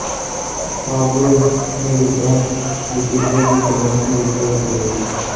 Pablo Neruda ਦੇ ਪਿੰਜਰ ਦੀ ਜਾਂਚ ਅਮਰੀਕਾ ਵਿੱਚ ਹੋਵੇਗੀ